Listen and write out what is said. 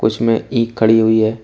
इसमें ई खड़ी हुई है।